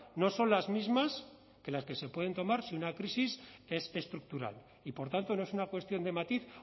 no son las mismas que las que se pueden tomarse si una crisis es estructural y por tanto no es una cuestión de matiz